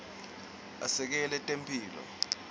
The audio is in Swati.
asekela temphilo